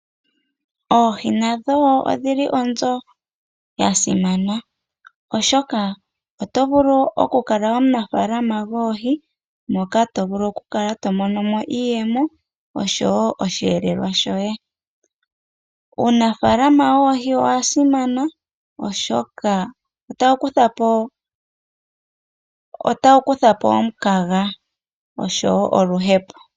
Oohi odhili onzo yasimana oshoka oto vulu okukala omunafalaama gwoohi moka to vulu okukala tomono iiyemo oshowo osheelelwa shoye, uunafalama woohi owa simana oshoka otawu kuthapo omukaga noshowo oluhepo.